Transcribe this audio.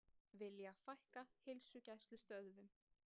Vilja fækka heilsugæslustöðvum